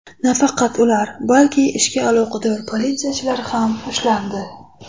Nafaqat ular, balki ishga aloqador politsiyachilar ham ushlandi.